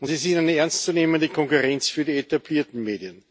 und sie sind eine ernstzunehmende Konkurrenz für die etablierten Medien.